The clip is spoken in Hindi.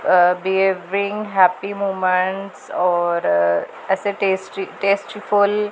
अ बिहेविंग हैप्पी मोमेंट्स और ऐसे टेस्टी टेस्ट फुल --